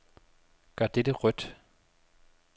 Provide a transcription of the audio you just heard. Gør dette rødt.